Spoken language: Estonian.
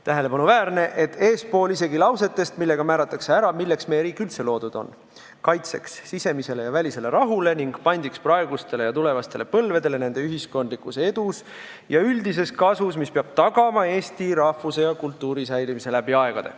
Tähelepanuväärne on, et eespool isegi lausetest, millega määratakse ära, milleks meie riik üldse loodud on: kaitseks sisemisele ja välisele rahule ning pandiks praegustele ja tulevastele põlvedele nende ühiskondlikus edus ja üldises kasus, mis peab tagama eesti rahvuse ja kultuuri säilimise läbi aegade.